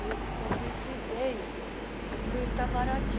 E esse convite veio para o Itamaraty.